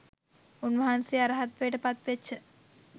උන්වහන්සේ අරහත්වයට පත්වෙච්ච